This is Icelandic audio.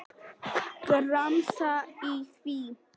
Gramsa í því.